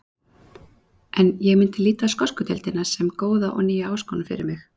En ég myndi líta á skosku deildina sem góða og nýja áskorun fyrir mig.